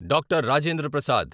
Doctor. Rajendra Prasad